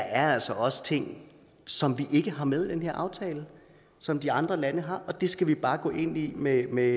er altså også ting som vi ikke har med i den her aftale som de andre lande har det skal vi bare gå ind i med med